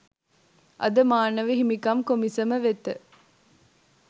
අද මානව හිමිකම් කොමිසම වෙත